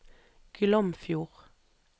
Glomfjord